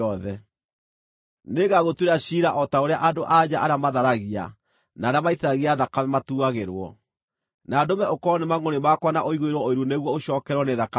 Nĩngagũtuĩra ciira o ta ũrĩa andũ-a-nja arĩa matharagia na arĩa maitithagia thakame matuuagĩrwo; na ndũme ũkorwo nĩ mangʼũrĩ makwa na ũiguĩrwo ũiru nĩguo ũcookererwo nĩ thakame ĩyo.